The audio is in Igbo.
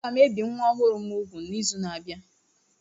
Aga m ebi nwa ọhụrụ m úgwù n'izu na-abịa